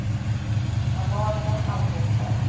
Amalia Alfredsson